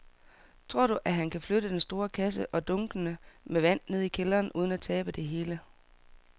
Tror du, at han kan flytte den store kasse og dunkene med vand ned i kælderen uden at tabe det hele?